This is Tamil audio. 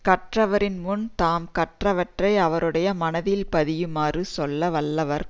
கற்றவரின் முன் தாம் கற்றவற்றை அவருடைய மனத்தில் பதியுமாறு சொல்ல வல்லவர்